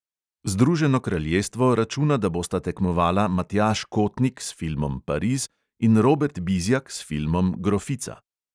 Združeno kraljestvo računa, da bosta tekmovala matjaž kotnik s filmom pariz in robert bizjak s filmom grofica.